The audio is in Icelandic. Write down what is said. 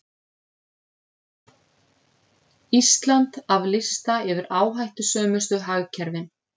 Ísland af lista yfir áhættusömustu hagkerfin